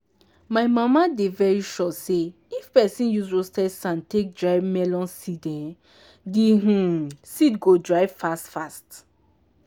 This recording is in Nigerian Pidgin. my mama dey very sure say if pesin use roasted sand take dry melon seed um di um seed go dry fast fast.